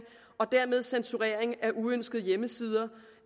og dermed censurering af uønskede hjemmesider